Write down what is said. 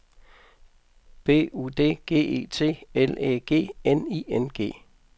B U D G E T L Æ G N I N G